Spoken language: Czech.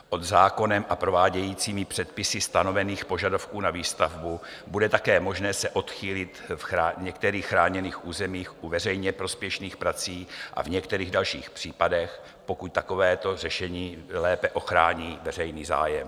Pod zákonem a prováděcími předpisy stanovených požadavků na výstavbu bude také možné se odchýlit v některých chráněných územích u veřejně prospěšných prací a v některých dalších případech, pokud takovéto řešení lépe ochrání veřejný zájem.